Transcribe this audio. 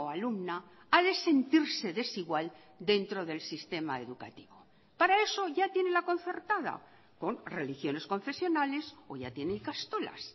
alumna ha de sentirse desigual dentro del sistema educativo para eso ya tiene la concertada con religiones concesionales o ya tiene ikastolas